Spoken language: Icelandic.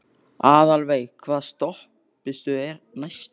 Aðalveig, hvaða stoppistöð er næst mér?